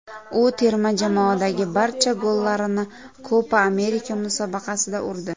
U terma jamoadagi barcha gollarini Kopa Amerika musobaqasida urdi.